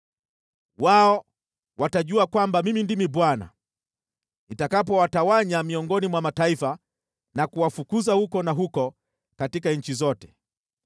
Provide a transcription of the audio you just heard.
“Wao watajua kwamba Mimi ndimi Bwana , nitakapowatawanya miongoni mwa mataifa na kuwafukuza huku na huko katika nchi zote.